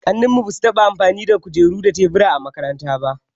Kakanninmu ba su taɓa amfani da kujeru da tebura a makaranta ba.